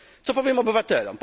Co powiem obywatelom?